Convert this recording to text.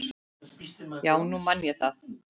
Já, nú man ég það.